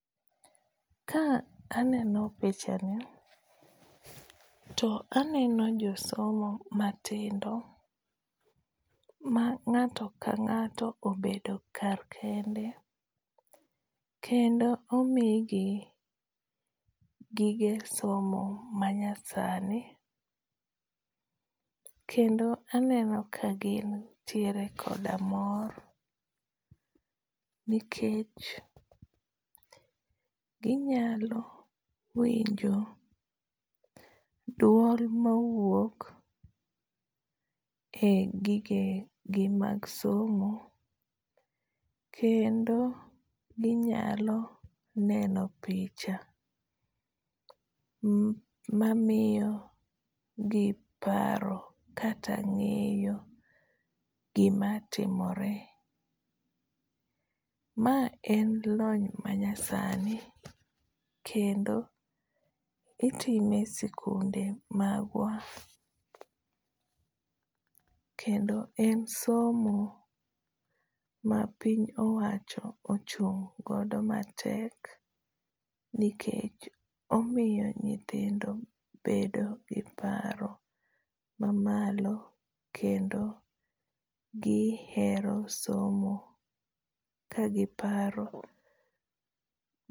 Ka aneno pichani to aneno josomo matindo, ma ngáto ka ngáto obedo kar kende, kendo omi gi gige somo manyasani. Kendo aneno ka gintiere koda mor. Nikech ginyalo winjo duol ma wuok e gige gi mag somo. Kendo ginyalo neno picha mamiyo gi paro kata ngéyo gima timore. Ma en lonya manyasani. Kendo itime e sikunde magwa. Kendo en somo ma piny owacho ochung' godo matek, nikech omiyo nyithindo bedo gi paro ma malo kendo gihero somo ka giparo.